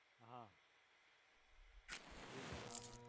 હા એજ હા હા